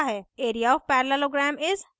area of parallelogram is 6